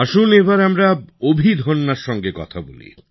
আসুন এবার আমরা অভিধন্যার সঙ্গে কথা বলি